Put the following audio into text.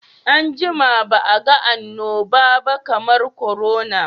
An jima ba a ga annobaba kamar korona.